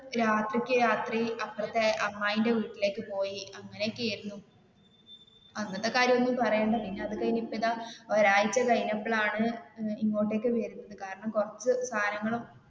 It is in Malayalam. രാത്രിക്ക് രാത്രി അപ്പുറത്തെ അമ്മായിടെ വീട്ടിലേക്ക് പോയി അങ്ങനെയൊക്കെ ആയിരുന്നു. അന്നത്തെ കാര്യം ഒന്നും പറയണ്ട പിന്നെ അത് കഴിഞ്ഞു ഇപ്പൊ ഇതാ ഒരാഴ്ച്ച കഴിഞ്ഞപ്പോൾ ആണ് അഹ് ഇങ്ങോട്ടേക്ക് വരുന്നത് കാരണം കുറച്ചു സാധനങ്ങൾ